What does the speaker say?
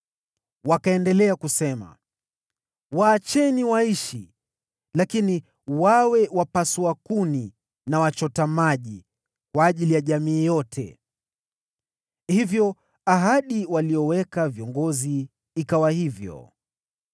Wakaendelea kusema, “Waacheni waishi, lakini wawe wapasua kuni na wachota maji kwa ajili ya jamii yote.” Hivyo ahadi waliyoweka viongozi kwao ikawa hivyo.